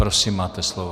Prosím, máte slovo.